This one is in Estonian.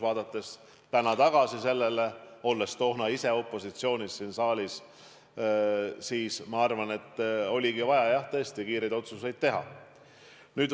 Vaadates täna sellele tagasi – ma olin ise toona siin saalis opositsioonis –, ma arvan, et oligi tõesti vaja kiireid otsuseid teha.